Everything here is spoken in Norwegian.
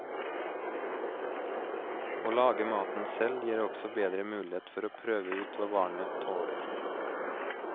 Å lage maten selv gir også bedre mulighet for å prøve ut hva barnet tåler.